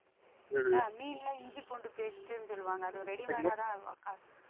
அஹ் இஞ்சி பூண்டு paste ன்னு சொல்வாங்க அது ஒரு readymade ஆ தான்